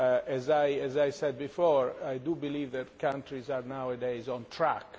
As I said before, I do believe that countries are nowadays on track.